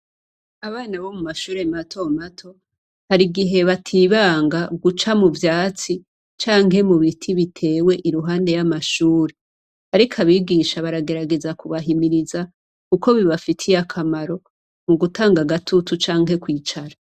Abana bo mu mashure matomato hari igihe batibanga guca mu vyatsi canke mu biti, bitewe iruhande y'amashuri, ariko abigisha baragerageza kubahimiriza uko bibafitiye akamaro mu gutanga gatutu canke kwicara.